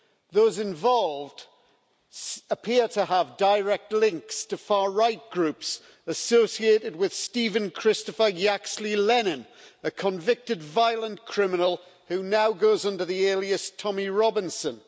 Those involved appear to have direct links to far right groups associated with Stephen Christopher Yaxley Lennon, a convicted violent criminal who now goes under the alias Tommy Robinson.